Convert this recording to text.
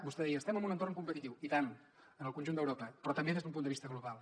vostè deia estem en un entorn competitiu i tant en el conjunt d’europa però també des d’un punt de vista global